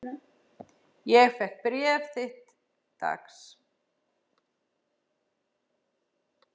Ég fékk bréf þitt dags.